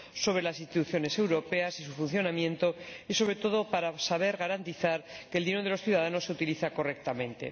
en las instituciones europeas y su funcionamiento y, sobre todo, para garantizar que el dinero de los ciudadanos se utiliza correctamente.